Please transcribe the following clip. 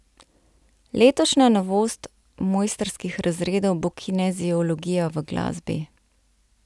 Letošnja novost mojstrskih razredov bo kineziologija v glasbi.